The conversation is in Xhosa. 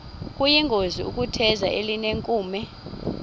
kuyingozi ukutheza elinenkume